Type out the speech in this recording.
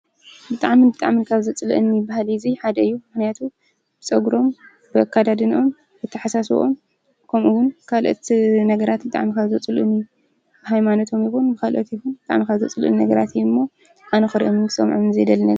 ብጣዕሚ ብጣዕሚ ካብ ዘፅለአኒ ባህሊ ሓደ እዚ እዩ፡፡ ምክንያቱ ብፀጉሩ፣ ብኣከዳድነኦም፣ ብኣተሓሳስበኦም ከምኡ እውን ካልኦት ነገራት ብጣዕሚ ካብ ዘፅልኡኒ ብሃይማኖቶም እውን ይኹን ብካሊኦም ብጣዕሚ ካብ ዘፅሉእኒ ነገራት እዮም እሞ ኣነ ክርኦምን ክሰምዖን ካብ ዘይደሊ ነገር ...